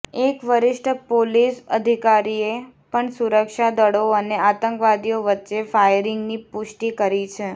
એક વરિષ્ઠ પોલીસ અધિકારીએ પણ સુરક્ષા દળો અને આતંકવાદીઓ વચ્ચે ફાયરિંગની પુષ્ટિ કરી છે